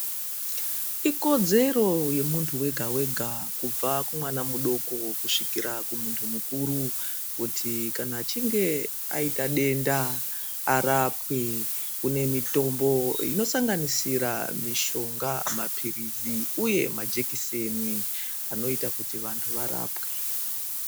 Ikodzero yemunhu wega wega kubva kumwana mudoko kusvikira kumunhu mukuru kuti kana achinge aita denda arapwe kune mitombo inosanganisira mishonga ,mapilizi uye majekiseni anoita kuti vanhu varapwe.